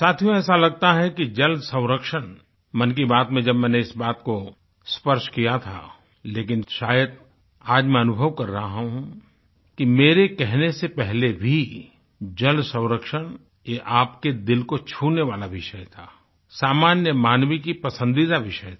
साथियो ऐसा लगता है कि जल संरक्षण मन की बात में जब मैंने इस बात को स्पर्श किया था लेकिन शायद आज मैं अनुभव कर रहा हूँ कि मेरे कहने से पहले भी जल संरक्षण ये आपके दिल को छूने वाला विषय थासामान्य मानवी की पसंदीदा विषय था